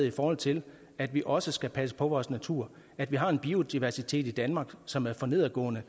i forhold til at vi også skal passe på vores natur at vi har en biodiversitet i danmark som er for nedadgående